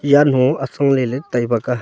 janhu atsong leley tai bega.